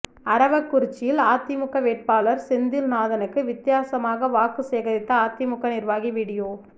அரவக்குறிச்சியில் அதிமுக வேட்பாளர் செந்தில் நாதனுக்கு வித்தியாசமாக வாக்கு சேகரித்த அதிமுக நிர்வாகி வீடியோ